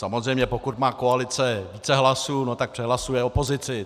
Samozřejmě pokud má koalice více hlasů, no tak přehlasuje opozici.